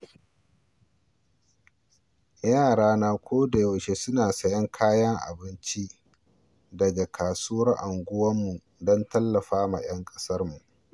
Yarana ko dayaushe suna sayen kayan abinci daga kasuwar unguwarmu don tallafawa ‘yan kasuwarmu.